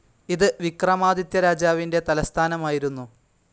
ഇത് വിക്രമാദിത്യ രാജാവിന്റെ തലസ്ഥാനമായിരുന്നു.